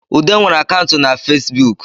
Ude nwere akantụ na Fesibuk